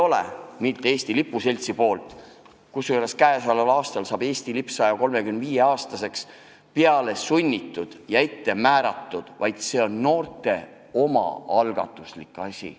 See ei ole Eesti Lipu Seltsi poolt – tänavu saab Eesti lipp muuseas 135-aastaseks – peale sunnitud üritus, see on noorte omaalgatuslik ettevõtmine.